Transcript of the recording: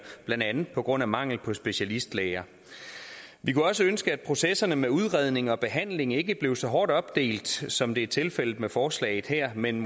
blandt andet på grund af mangel på specialistlæger vi kunne også ønske at processerne med udredning og behandling ikke blev så hårdt opdelt som det er tilfældet med forslaget her men